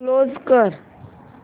close कर